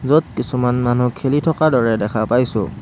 য'ত কিছুমান মানুহ খেলি থকাৰ দৰে দেখা পাইছোঁ।